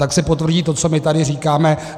Tak se potvrdí to, co my tady říkáme.